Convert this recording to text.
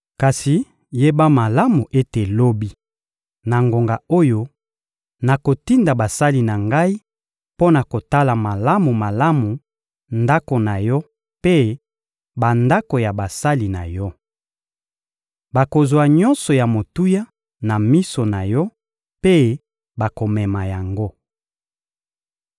Kasi yeba malamu ete lobi, na ngonga oyo, nakotinda basali na ngai mpo na kotala malamu-malamu ndako na yo mpe bandako ya basali na yo. Bakozwa nyonso ya motuya na miso na yo mpe bakomema yango.»